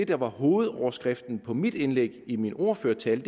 der var hovedoverskriften på mit indlæg i min ordførertale